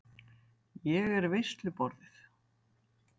Ég er veisluborðið.